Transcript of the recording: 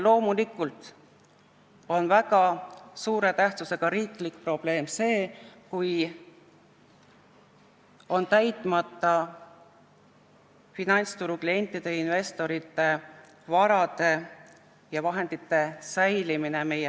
Loomulikult on väga suure tähtsusega riiklik probleem see, kui meie finantsturul ei ole tagatud finantsturu klientide ja investorite vara ja vahendite säilimine.